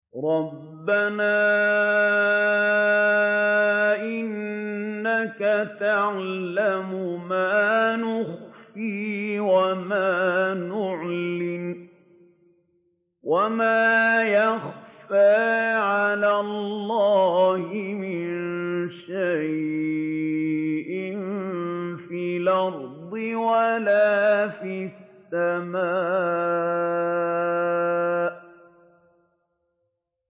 رَبَّنَا إِنَّكَ تَعْلَمُ مَا نُخْفِي وَمَا نُعْلِنُ ۗ وَمَا يَخْفَىٰ عَلَى اللَّهِ مِن شَيْءٍ فِي الْأَرْضِ وَلَا فِي السَّمَاءِ